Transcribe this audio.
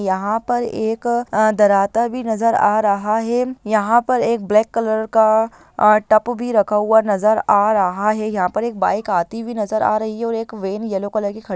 यहाँ पर एक अ-अ दराता भी नज़र आ रहा है यहाँ पर एक ब्लैक कलर का अ टप भी रखा हुआ नज़र आ रहा है यहाँ पर एक बाइक आती हुई नजर आ रही है और एक वेन येलो कलर की खड़ी --